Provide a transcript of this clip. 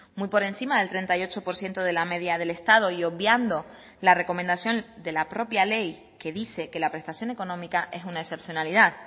muy por encima del treinta y ocho por ciento de la media del estado y obviando la recomendación de la propia ley que dice que la prestación económica es una excepcionalidad